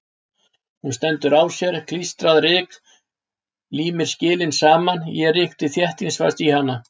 Hún stendur á sér, klístrað ryk límir skilin saman, ég rykki þéttingsfast í hana.